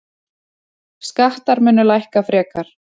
Skattar munu lækka frekar.